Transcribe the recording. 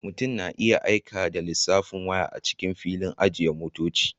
Mutum na iya aika da lissafin waya a cikin filin ajiye motoci